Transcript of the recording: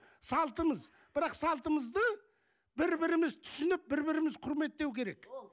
салтымыз бірақ салтымызды бір біріміз түсініп бір біріміз құрметтеу керек